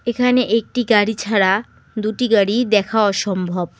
এখানে একটি গাড়ি ছাড়া দুটি গাড়ি দেখা অসম্ভব।